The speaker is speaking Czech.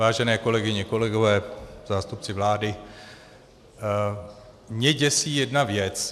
Vážené kolegyně, kolegové, zástupci vlády, mě děsí jedna věc.